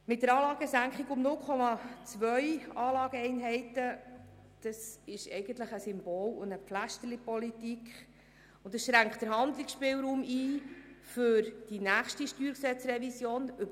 Eine Anlagesenkung um 0,2 Anlageeinheiten ist eigentlich eine Symbol- und «Pflästerlipolitik», und sie schränkt den Handlungsspielraum für die nächste StG-Revision ein.